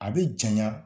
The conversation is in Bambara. A bɛ janɲa